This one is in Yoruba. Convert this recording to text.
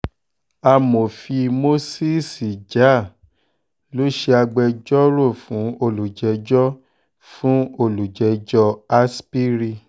amòfin moses jah-nissi ló ṣe agbẹjọ́rò fún olùjẹ́jọ́rẹ́ fún olùjẹ́jọ́ aspiri